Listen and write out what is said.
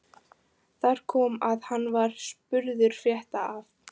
Þar kom að hann var spurður frétta af